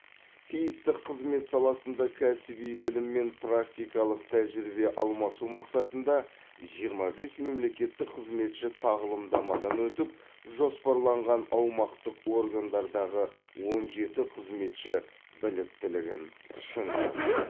тиісті қызмет саласында кәсіби білім мен практикалық тәжірибе алмасу мақсатында жиырма бес мемлекеттік қызметші тағылымдамадан өтіп жоспарланған аумақтық органдардағы он жеті қызметші біліктілігін шыңдаған